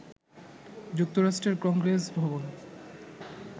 যুক্তরাষ্ট্রের কংগ্রেস ভবন